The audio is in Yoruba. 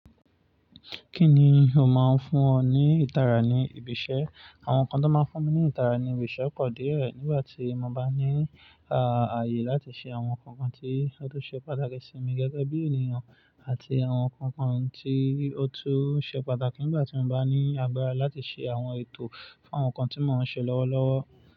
Kí ni ó máa ń fún ọ ní ìtara ní ibi iṣẹ́? Àwọn nǹkan tó máa ń fún mi ní ìtara ní ibi iṣẹ́ ò pọ̀ díẹ̀ rẹ̀ nígbà tí mo bá ní ààyè láti ṣe àwọn ǹkankan tí ó tó ṣe pàtàkì sí mi gẹ́gẹ́ bí ènìyàn àti àwọn nǹkan tí ó tó ṣe pàtàkì nígbà tí mo bá ní agbára láti ṣe àwọn ètò fún àwọn nǹkan tí mo ń ṣe lọ́wọ́lọ́wọ́.